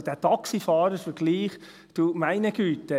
Also dieser Taxifahrer-Vergleich, ja du meine Güte!